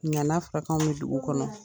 Ŋa na fɔra k' anw ye dugu kɔnɔ